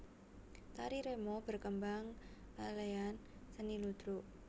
Tari remo berkembang kalean seni ludruk